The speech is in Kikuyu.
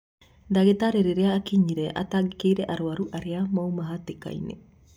Ndagĩtarĩ rĩrĩa akinyire atangĩkĩire arwaru arĩa mauma hatĩkaĩnĩ